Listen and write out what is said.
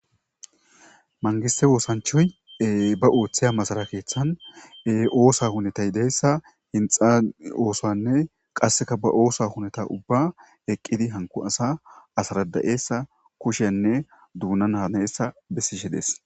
mangise woosanchoye ba ooththiya masalakeeththane oosa hunetay deyssa hinxa oosanne qasseka ba oosa huneta ubba eqqidi hanku asa asarada7eesa kushenne duuna naneessa bessishe dees